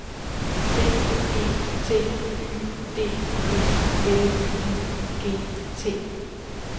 B E T Y D E L I G T